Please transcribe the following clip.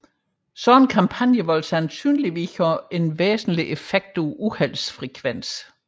Sådanne kampagner vil sandsynligvis have en væsentlig effekt på uheldsfrekvensen